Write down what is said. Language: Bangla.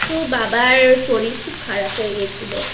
বাবার শরীর খুব খারাপxa0হয়েxa0গেছিলো